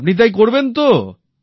আপনি তাই করবেন তো